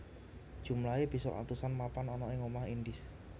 Jumlahé bisa atusan mapan ana ing Omah Indis